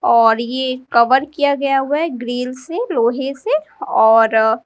और ये कवर किया गया हुआ है ग्रिल से लोहे से और--